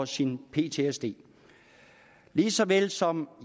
sin ptsd lige så vel som